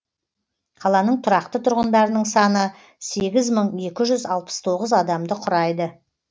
қаланың тұрақты тұрғындарының саны сегіз мың екі жүз алпыс тоғыз адамды құрайды